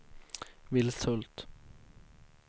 Vilshult